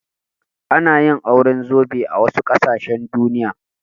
Ana yin auren zobe a wasu ƙasashen Duniya.